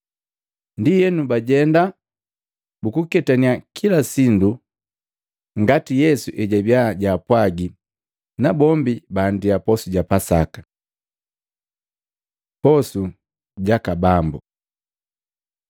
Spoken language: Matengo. Ndienu bajenda bukuketaniya kila sindu ngati Yesu ejabi jaapwaji, nabombi baandia posu ja Pasaka. Posu jaka Bambu Matei 26:26-30; Maluko 14:22-26; 1Akolintu 11:23-25